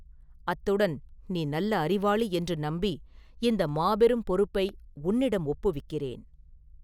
அத்துடன் நீ நல்ல அறிவாளி என்று நம்பி இந்த மாபெரும் பொறுப்பை உன்னிடம் ஒப்புவிக்கிறேன்.